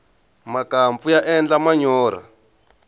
makampfu ya endla manyorha